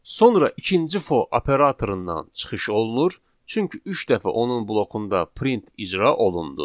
Sonra ikinci for operatorundan çıxış olunur, çünki üç dəfə onun blokunda print icra olundu.